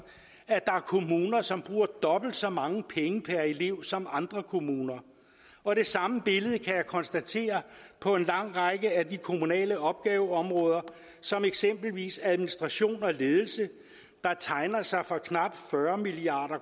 at der er kommuner som bruger dobbelt så mange penge per elev som andre kommuner og det samme billede kan jeg konstatere på en lang række af de kommunale opgaveområder som eksempelvis administration og ledelse der tegner sig for knap fyrre milliard